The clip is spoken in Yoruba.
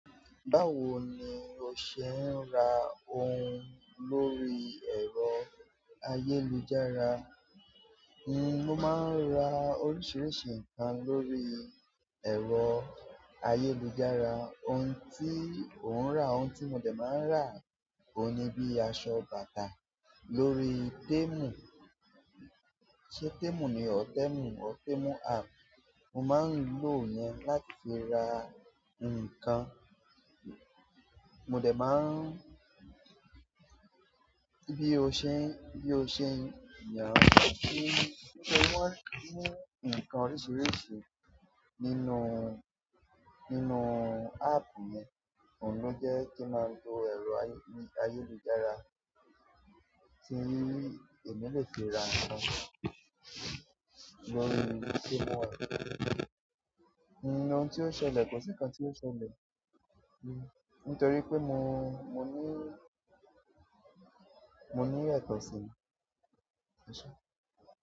Báwo ni o ṣe ń ra ohun lórí ẹ̀rọ ayélujára? Mo má ń ra oríṣiríṣi nǹkan lórí ẹ̀rọ ayélujára. Ohun tí ò ń rà, ohun tí mo dẹ̀ máa ń rà oun ní bíi aṣọ, bàtà lórí Temu, ṣé Temu ni? O, Temu, or Temu app. Mo máa ń lo ìyẹn láti fi ra nǹkan. Mo dẹ̀ máa ń, bí i o ṣe, bí i o ṣe yàn kí wọ́n mú nǹkan oríṣiríṣi nínú, nínú app yẹn, òun ló jẹ́ kí n máa lo ẹ̀rọ ayé-ayélujára tí èmi lè fi ra nkan lórí Temu app. Ohun tí o ṣẹlẹ̀, kò si nǹkan tí o ṣẹlẹ̀, nítorí pé mo, mo ní, mo ní ẹ̀tọ́ sí i.